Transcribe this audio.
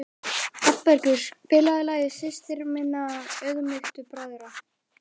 Hrafnbergur, spilaðu lagið „Systir minna auðmýktu bræðra“.